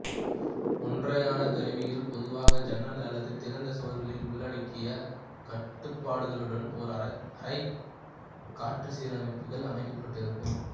ஒற்றையான கருவிகள் பொதுவாக ஜன்னல் அல்லது திறந்த சுவர்களில் உள்ளடங்கிய கட்டுப்பாடுகளுடன் ஒரு அறை காற்றுச்சீரமைப்பிகள் அமைக்கப்பட்டிருக்கும்